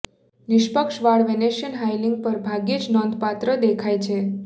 નિષ્પક્ષ વાળ વેનેશિઅન હાઇલીંગ પર ભાગ્યે જ નોંધપાત્ર દેખાય છે